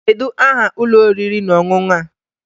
Kedu aha ụlọ oriri na ọṅụṅụ a?